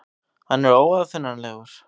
Hann er óaðfinnanlegur.